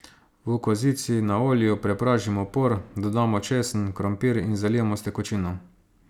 V kozici na olju prepražimo por, dodamo česen, krompir in zalijemo s tekočino.